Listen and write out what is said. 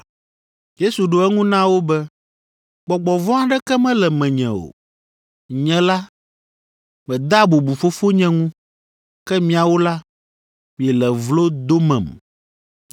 Yesu ɖo eŋu na wo be, “Gbɔgbɔ vɔ̃ aɖeke mele menye o. Nye la, medea bubu Fofonye ŋu, ke miawo la, miele vlo domem.